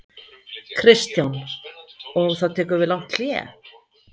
Kristján: Og þá tekur við langt hlé?